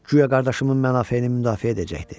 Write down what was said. Guya qardaşımın mənafeyini müdafiə edəcəkdi.